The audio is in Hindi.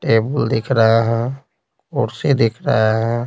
टेबुल दिख रहा है कुर्सी दिख रहा है।